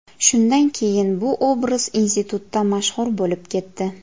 Shundan keyin bu obraz institutda mashhur bo‘lib ketdi.